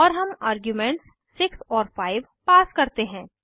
और हम आर्ग्यूमेंट्स 6 और 5 पास करते हैं